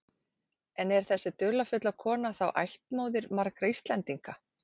En er þessi dularfulla kona þá ættmóðir margra Íslendinga?